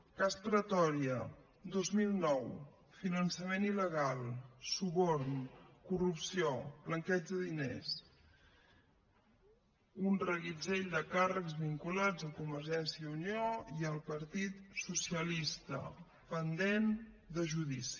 cas pretòria dos mil nou finançament il·legal suborn corrupció blanqueig de diners un reguitzell de càrrecs vinculats a convergència i unió i al partit socialista pendent de judici